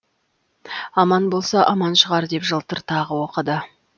аман болса аман шығар деп жылтыр тағы оқыды